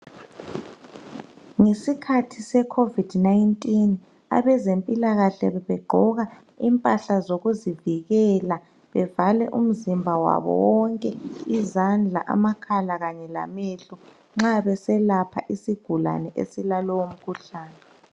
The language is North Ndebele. Ngesikhathi seCovid-19 abezempilakahle bebegqoka imphahla zokuzivikela bevale umzimba wabo wonke izandla amakhala kanye lamehlo nxa beselapha isigulane esilalowo mkhuhlane.